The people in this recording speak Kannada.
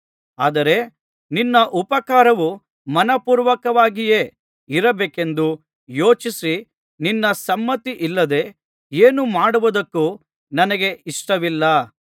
ಆದರೆ ನಿನ್ನ ಉಪಕಾರವು ಮನಃಪೂರ್ವಕವಾಗಿಯೇ ಇರಬೇಕೆಂದು ಯೋಚಿಸಿ ನಿನ್ನ ಸಮ್ಮತಿಯಿಲ್ಲದೆ ಏನು ಮಾಡುವುದಕ್ಕೂ ನನಗೆ ಇಷ್ಟವಿಲ್ಲ